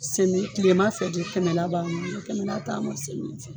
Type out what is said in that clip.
Semi ,tileman fɛ de kɛmɛ la b'an bɔ, n'o tɛ kɛmɛ la t'an bɔ semiya fɛ